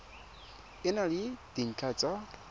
e na le dintlha tsa